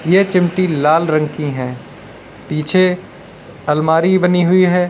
ये चिमटी लाल रंग की हैं पीछे अलमारी बनी हुई है।